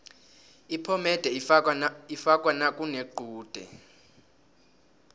iphomede ifakwa nakunequde